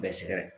Bɛɛ sɛgɛn